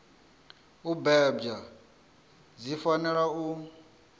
u bebwa dzi fanela u